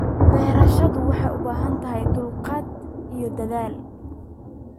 Beerashadu waxay u baahan tahay dulqaad iyo dadaal.